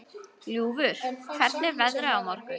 Ljúfur, hvernig er veðrið á morgun?